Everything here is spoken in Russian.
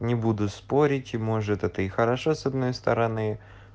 не буду спорить и может это и хорошо с одной стороны